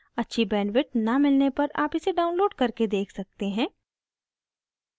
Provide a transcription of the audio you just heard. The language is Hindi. अच्छी bandwidth न मिलने पर आप इसे download करके देख सकते हैं